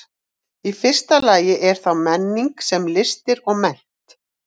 Í fyrsta lagi er þá menning sem listir og mennt.